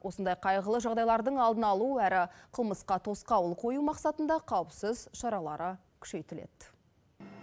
осындай қайғылы жағдайлардың алдын алу әрі қылмысқа тосқауыл қою мақсатында қауіпсіз шаралары күшейтіледі